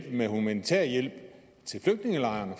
give humanitær hjælp til flygtningelejrene